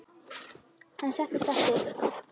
Hann settist aftur.